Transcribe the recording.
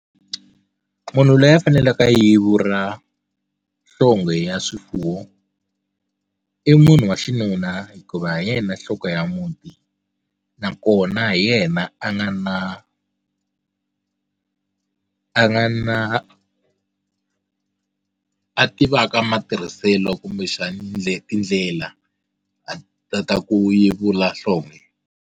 Munhu loyi a faneleke a yevula nhlonghe ya swifuwo i munhu wa xinuna hikuva hi yena nhloko ya muti nakona hi yena a nga na a a nga na a tivaka matirhiselo kumbexani ndlela tindlela a ta ta ku yevula nhlonghe.